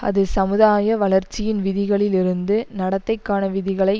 அது சமுதாய வளர்ச்சியின் விதிகளில் இருந்து நடத்தைக்கான விதிகளை